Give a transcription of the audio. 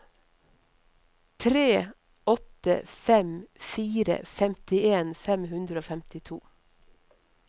tre åtte fem fire femtien fem hundre og femtito